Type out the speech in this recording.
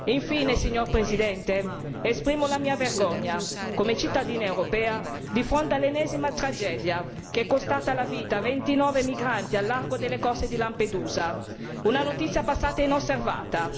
Infine, signora Presidente, esprimo la mia vergogna, come cittadina europea, di fronte all'ennesima tragedia che è costata la vita a 29 migranti al largo delle coste di Lampedusa, una notizia passata inosservata.